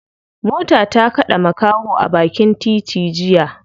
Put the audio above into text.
Mota ta kade makaho a bakin titi jiya.